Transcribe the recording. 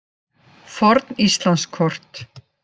Forn Íslandskort.